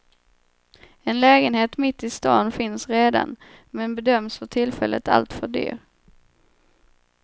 En lägenhet mitt i stan finns redan, men bedöms för tillfället alltför dyr.